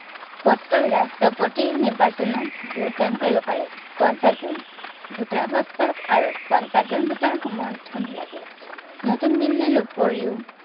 পত্ৰ ৰাষ্ট্ৰপতিৰ নিৰ্বাচনত vote দান কৰিব পাৰে। পঞ্চাশজন voter অৱস্থাত আৰু পঞ্চাশজন voter ৰ সমৰ্থন লাগে। নতুন দিল্লীৰ উপৰিও